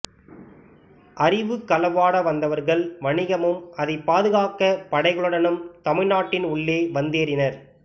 அறிவுக் களவாட வந்தவர்கள் வணிகமும் அதை பாதுகாக்க படைகளுடனும் தமிழ்நாட்டின் உள்ளே வந்தேறினர்